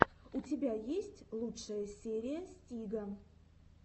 у тебя есть лучшая серия стига